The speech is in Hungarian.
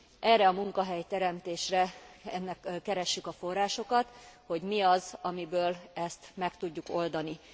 Erre a munkahelyteremtésre keressük a forrásokat, hogy mi az, amiből ezt meg tudjuk oldani.